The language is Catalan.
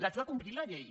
haig de complir la llei